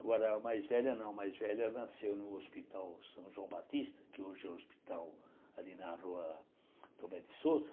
Agora a mais velha não, a mais velha nasceu no hospital São João Batista, que hoje é o hospital ali na rua Tomé de Sousa.